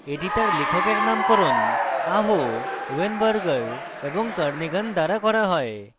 এটি তার লেখকের নামকরণ aho weinberger এবং kernighan দ্বারা করা হয়